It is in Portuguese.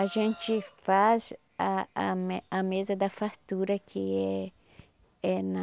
A gente faz a a me a mesa da fartura que é é na...